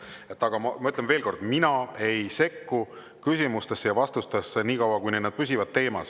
Aga ma ütlen veel kord, mina ei sekku küsimustesse ja vastustesse nii kaua, kuni need püsivad teemas.